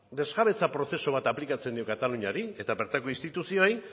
desjabetze prozesu bat aplikatzen dio kataluniari eta bertako instituzioei